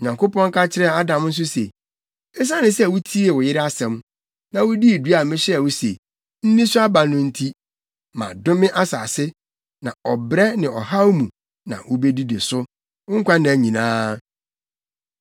Onyankopɔn ka kyerɛɛ Adam nso se, “Esiane sɛ wutiee wo yere asɛm, na wudii dua a mehyɛɛ wo se, ‘nni so aba no’ nti, “Madome asase, na ɔbrɛ ne ɔhaw mu na wubedidi so wo nkwanna nyinaa.